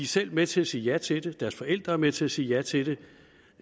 selv med til at sige ja til det deres forældre er med til at sige ja til det